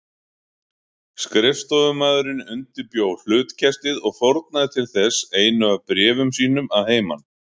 Skrifstofumaðurinn undirbjó hlutkestið og fórnaði til þess einu af bréfum sínum að heiman.